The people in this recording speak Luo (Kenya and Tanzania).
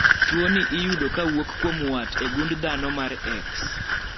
tuoni iyudo kawuok kuom wat e gund dhano mar x